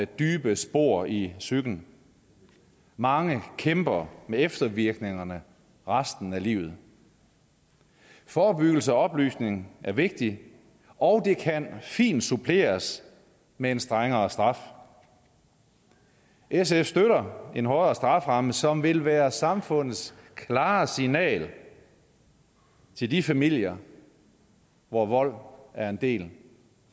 dybe spor i psyken mange kæmper med eftervirkningerne resten af livet forebyggelse og oplysning er vigtig og det kan fint suppleres med en strengere straf sf støtter en hårdere strafferamme som vil være samfundets klare signal til de familier hvor vold er en del